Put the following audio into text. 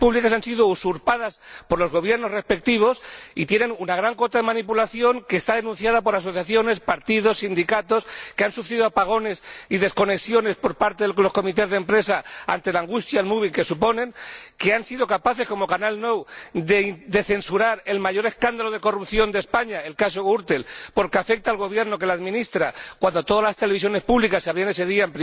han sido usurpadas por los gobiernos regionales respectivos y son objeto de una importante manipulación denunciada por asociaciones, partidos, sindicatos que han sufrido apagones y desconexiones por parte de los comités de empresa ante la angustia al mobbing que padecen, que han sido capaces como Canal Nou de censurar el mayor escándalo de corrupción de España el caso Gürtel porque afecta al Gobierno que la administra, cuando todas las televisiones públicas abrían ese día